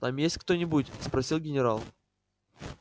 там есть кто-нибудь спросил генерал